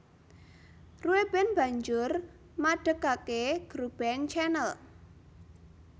Rueben banjur madegake grup band Chanel